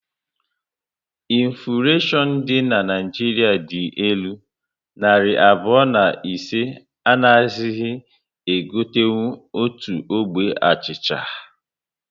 Infuleshion dị na Naịjiria dị elu, narị abụọ na ise anaghizi e gotenkwu otu ogbe achịcha